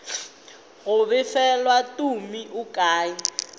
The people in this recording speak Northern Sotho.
go befelwa tumi o kae